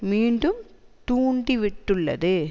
மீண்டும் தூண்டி விட்டுள்ளது